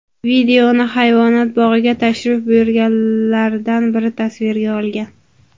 Videoni hayvonot bog‘iga tashrif buyurganlardan biri tasvirga olgan.